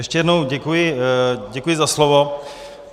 Ještě jednou děkuji za slovo.